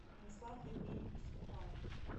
станислав евгеньевич степанов